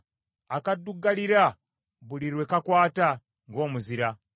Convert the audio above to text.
akaddugalirira buli lwe kakwata, ng’omuzira,